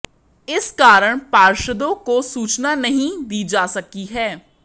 इस कारण पार्षदों को सूचना नहीं दी जा सकी है